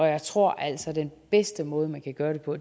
jeg tror altså at den bedste måde man kan gøre det på